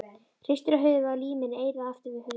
Hristir höfuðið og límir eyrað aftur við hurðina.